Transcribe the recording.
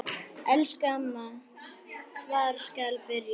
Elsku amma, hvar skal byrja?